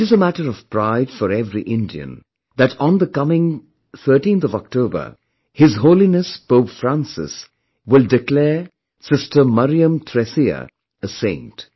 It is a matter of pride for every Indian that, on the coming 13thOctober, His Holiness Pope Francis will declare Sister MariamThresia a saint